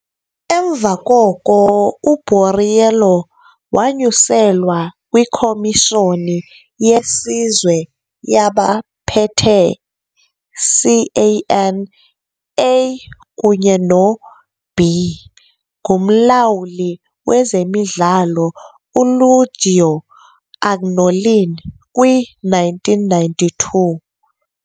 Emva koko u-Borriello wanyuselwa kwiKhomishoni yeSizwe yabaPhethe, CAN, A kunye no-B ngumlawuli wezemidlalo uLuigi Agnolin kwi-1992.